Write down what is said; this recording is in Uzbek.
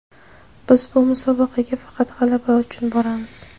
Biz bu musobaqaga faqat g‘alaba uchun boramiz.